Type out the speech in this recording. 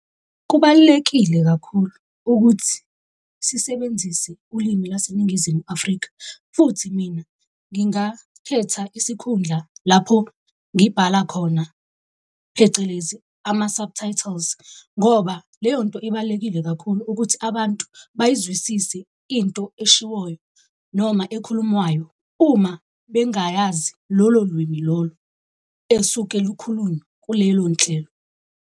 Kubalulekile kakhulu ukuthi sisebenzise ulimi laseNingizimu Afrika. Futhi mina ngingakhetha isikhundla lapho ngibhala khona phecelezi, ama-subtitles. Ngoba leyo nto ibalulekile kakhulu ukuthi abantu bayizwisise into eshiwoyo noma ekhulumwayo, uma bengayazi lolo limi lolo esuke lukhulunywa kulelo nhlelo.